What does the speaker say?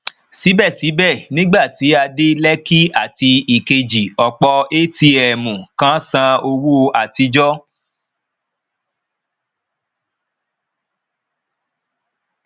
sibẹsibẹ nígbà tí a dé lekki àti ìkejì ọpọ atm kan san owó àtijọ